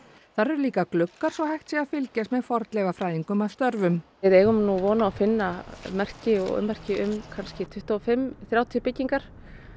þar eru líka gluggar svo hægt sé að fylgjast með fornleifafræðingum að störfum við eigum nú von á að finna merki og ummerki um kannski tuttugu og fimm þrjátíu byggingar